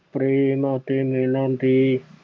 ਪ੍ਰੇਮ ਅਤੇ ਮਿਲਣ ਦੀ